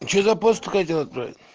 что за ст-то хотел отправить